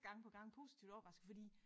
Gang på gang positivt overrasket fordi